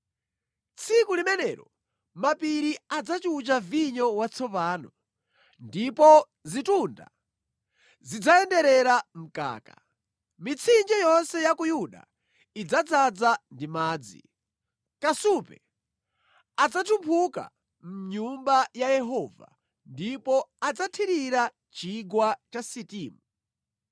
“Tsiku limenelo mapiri adzachucha vinyo watsopano, ndipo zitunda zidzayenderera mkaka; mitsinje yonse ya ku Yuda idzadzaza ndi madzi. Kasupe adzatumphuka mʼnyumba ya Yehova ndipo adzathirira Chigwa cha Sitimu.